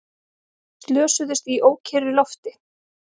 Slösuðust í ókyrru lofti